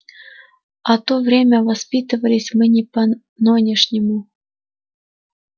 в то время воспитывались мы не по-нонешнему